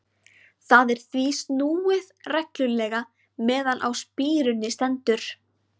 Þar er því snúið reglulega meðan á spíruninni stendur.